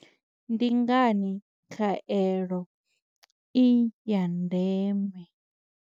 Ndi ngani khaelo i ya ndeme?